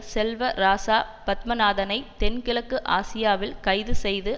செல்வராசா பத்மநாதனை தென் கிழக்கு ஆசியாவில் கைதுசெய்து